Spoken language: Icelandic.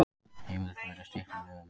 Heimild verði stytt með lögum